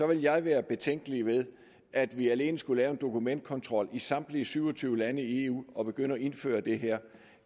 vil jeg være betænkelig ved at vi alene skulle lave en dokumentkontrol i samtlige syv og tyve lande i eu og begynde at indføre det her